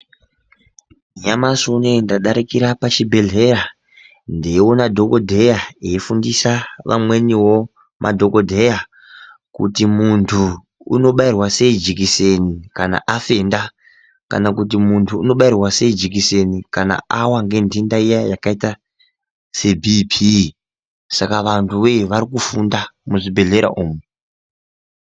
Nyamashi unouyu ndadarikira pachibhedhleya ndeiona dhogodheya eifundisa vamwenivo madhogodheya. Kuti muntu unobairwa sei jekiseni kana afenda. Kana kuti muntu unobaira sei jekiseni kana ava nentenda iya yakaita sebhipii. Saka vantu voye varikufunda muzvibhedhlera umu.